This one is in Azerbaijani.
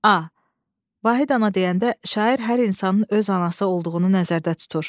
A. Vahid ana deyəndə şair hər insanın öz anası olduğunu nəzərdə tutur.